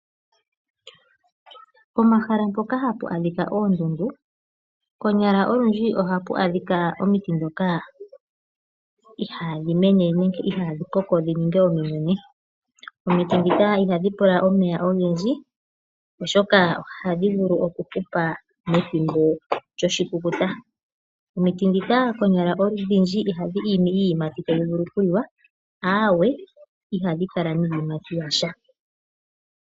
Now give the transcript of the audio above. Pomahala mpoka hapu adhika oondundu konyala olundji ohapu adhika omiti ndhoka ihaadhi mene nenge ihaadhi koko dhi ninge ominene. Omiti ndhika ihadhi pula omeya ogendji, oshoka ohadhi vulu okuhupa methimbo lyoshikukuta. Omiti ndhika konyala odhindji ihadhi imi iiyimati tayi vulu okuliwa, aawe, ihadhi kala niiyimati ya sha.